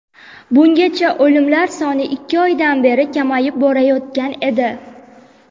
Bungacha o‘limlar soni ikki oydan beri kamayib borayotgan edi.